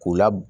K'u la